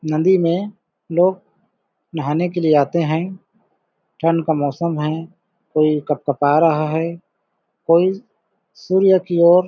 नंदी में लोग नहाने के लिए आते हैं ठंड का मौसम है कोई कपकपा रहा है कोई सूर्य की ओर --